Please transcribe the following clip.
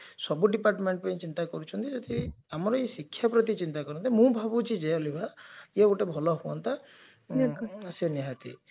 ସବୁ department ପାଇଁ ଚିନ୍ତା କରୁଛନ୍ତି ଯେଥିରେ ଆମର ଏଇ ଶିକ୍ଷା ପ୍ରତି ଚିନ୍ତା କରନ୍ତେ ମୁ ଭାବୁଛି ଯେ ଅଲିଭା ଇଏ ଗୋଟେ ଭଲ ହୁଅନ୍ତା ବିଲକୁଲ ସେ ନିହାତି